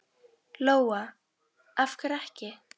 Lóa: Af hverju ekki?